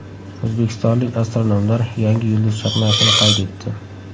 O‘zbekistonlik astronomlar yangi yulduz chaqnashini qayd etdi.